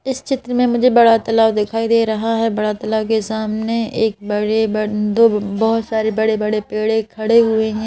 इस चित्र में मुझे बड़ा तलाब दिखाई दे रहा है बड़ा तलाब के सामने एक बड़े बंदू बहुत सारे बड़े बड़े पेड़े खड़े हुए हैं।